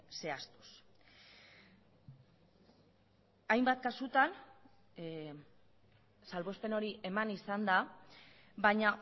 zehaztuz hainbat kasutan salbuespen hori eman izan da baina